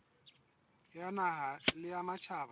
ya naha le ya matjhaba